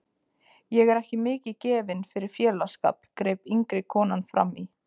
Ég er ekki mikið gefin fyrir félagsskap, greip yngri konan frammí.